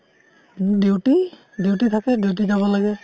duty। duty থাকে duty জাব লাগে